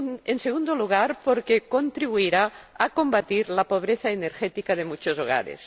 En segundo lugar, porque contribuirá a combatir la pobreza energética de muchos hogares.